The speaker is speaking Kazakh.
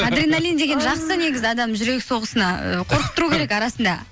адреналин деген жақсы негізі адамның жүрек соғысына қорқып тұру керек арасында